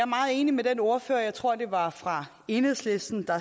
meget enig med den ordfører jeg tror det var fra enhedslisten der